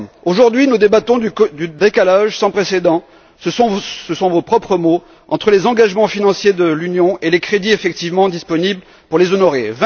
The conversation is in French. Aujourd'hui, nous débattons du décalage sans précédent ce sont vos propres mots entre les engagements financiers de l'Union et les crédits effectivement disponibles pour les honorer.